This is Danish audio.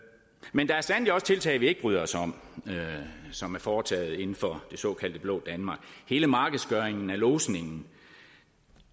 men der er sandelig også tiltag vi ikke bryder os om og som er foretaget inden for det såkaldte det blå danmark hele markedsgørelsen af lodsningen